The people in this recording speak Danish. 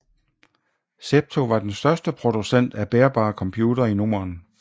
Zepto var den største producent af bærbare computere i Norden